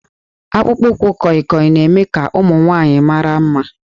Akpụkpọ ụkwụ kọịkọị na-eme ka ụmụ nwanyị mara mma